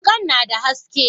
wukan na da haske.